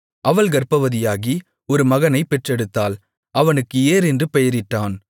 அவள் கர்ப்பவதியாகி ஒரு மகனைப் பெற்றெடுத்தாள் அவனுக்கு ஏர் என்று பெயரிட்டான்